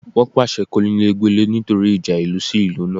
Wọ́n pàṣẹ kónílé gbélé nítorí ìjà ìlú sí ìlú náà